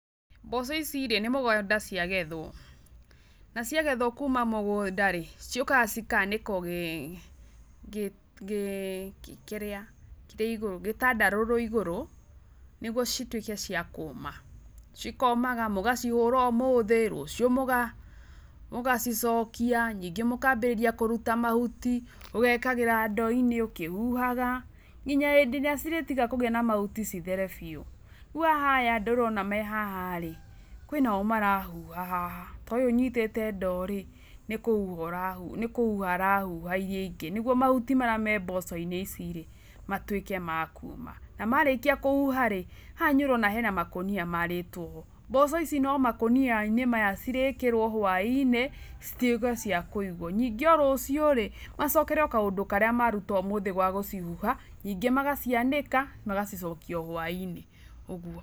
Mboco ici rĩ, nĩ mũgũnda ciagethwo, na ciagethwo kuuma mũgũnda rĩ, ciũkaga cĩkanĩkwo kĩrĩa kĩrĩa igũrũ gĩtandarũrũ igũrũ, nĩguo cĩtuĩke cia kũũma cĩkomaga, mũgacĩhura ũmũthĩ rũciũ mũga, mũgacĩcokia ningĩ mũkambĩrĩria kũruta mahuti, mũgĩkagĩra ndoo-inĩ, ũkĩhuhaga, nginya hĩndĩ ĩrĩa cĩrĩtiga kũgĩa na mahuti cĩthere biũ, rĩu haha aya andũ ũrona me haha rĩ, kwĩnao marahuha haha, ta ũyũ ũnyitĩte ndoo rĩ, nĩ kũhuha arahuha iria ingĩ nĩguo mahuti marĩa me mboco-inĩ ici rĩ, matuĩke makuuma na marĩkia kũhuha rĩ, haha nĩ ũrona makũnia marĩtwo mboco ici no makũnia-inĩ maya cĩrĩkĩrwo hwainĩ, cĩtwĩke cia kũigwo nĩngĩ o rũciũ macokere o kaũndũ karĩa matinda makĩruta ga gũcĩhuha ningĩ magacianĩka magacĩcokia o hwainĩ ũguo.